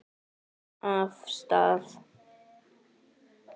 Af stað!